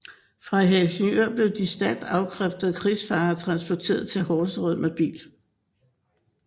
Fra Helsingør blev de stærkt afkræftede krigsfanger transporteret til Horserød med bil